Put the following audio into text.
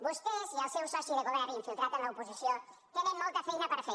vostès i el seu soci de govern infiltrat en l’oposició tenen molta feina per fer